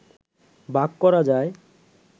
ভাগ করা যায়।